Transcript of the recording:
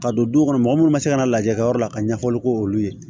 Ka don du kɔnɔ mɔgɔ munnu ma se ka na lajɛ kɛyɔrɔ la ka ɲɛfɔli k'olu ye